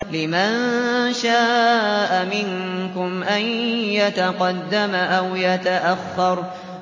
لِمَن شَاءَ مِنكُمْ أَن يَتَقَدَّمَ أَوْ يَتَأَخَّرَ